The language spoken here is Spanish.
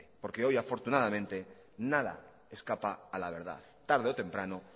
porque hoy afortunadamente nada escapa a la verdad tarde o temprano